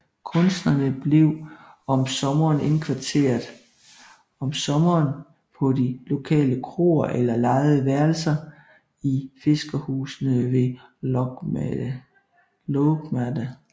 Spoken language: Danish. Kunstnerne blev om sommeren indkvarteret om sommeren på de lokale kroer eller lejede værelser i fiskerhusene ved Lågmade